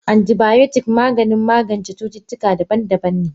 Antibiotics Maganin magance cutuka daban daban ne.